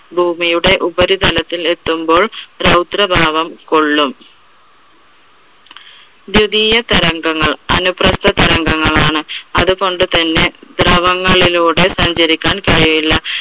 ഭൂമിയുടെ ഉപരിതലത്തിൽ എത്തുമ്പോൾ രൗദ്രഭാവം കൊള്ളും. ദ്വിതിയ തരംഗങ്ങൾ അനുപ്രസ്ഥ തരംഗങ്ങളാണ് അതുകൊണ്ട് തന്നെ ദ്രവങ്ങളിലൂടെ സഞ്ചരിക്കാൻ കഴിയില്ല.